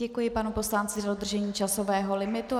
Děkuji panu poslanci za dodržení časového limitu.